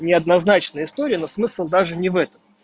неоднозначная история но смысл даже не в этом